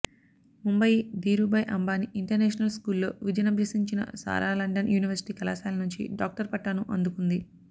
Mumbai Dhirubhai Ambani international స్కూల్లో విద్యనభ్యసించిన Sara London university కళాశాల నుంచి డాక్టర్ పట్టాను అందుకుంది